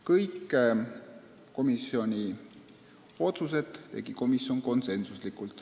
Kõik otsused tegi komisjon konsensusega.